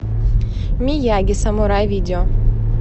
мияги самурай видео